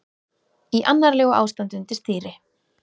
Í annarlegu ástandi undir stýri